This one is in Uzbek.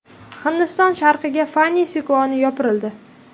Hindiston sharqiga Fani sikloni yopirildi .